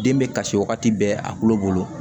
Den bɛ kasi wagati bɛɛ a kulo bolo